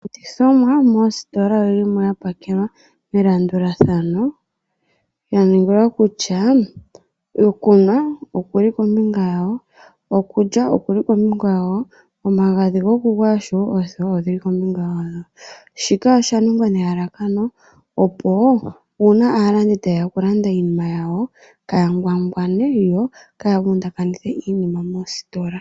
Iilandithomwa moositola oyili mo yapakelwa melandulathano yaningila kutya okunwa okuli kombinga yawo, okulya okuli kombinga yawo, omagadhi gokugwaya osho wo oothewa odhili kombinga yadho. Shika oshaningwa nelalakano opo uuna aalandi taye ya okulanda iinima yawo kaaya ngwangwane yo kaaya vundakanithe iinima moositola